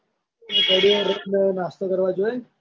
ઘડીવાર રઈ ન નાસ્તો કરવા જોય.